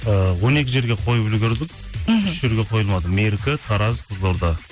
ыыы он екі жерге қойып үлгірдік мхм үш жерге қойылмады меркі тараз қызылорда